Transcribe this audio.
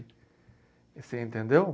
Você entendeu?